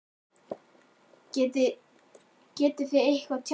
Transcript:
Hödd Vilhjálmsdóttir: Getið þið eitthvað tjáð ykkur?